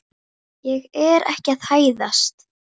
Ég er ekki að hæðast.